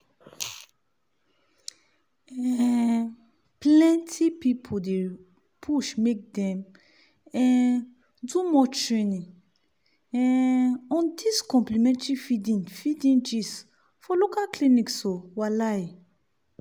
um plenty people dey push make dem um do more training um on dis complementary feeding feeding gist for local clinics o walahi.